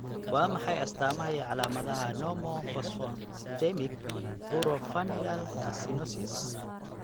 Waa maxay astaamaha iyo calamadaha Normophosphatemic buro-familial calcinosis?